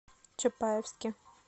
чапаевске